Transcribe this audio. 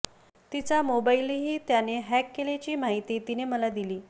तिचा मोबाईलही त्याने हॅक केल्याची माहिती तिने मला दिली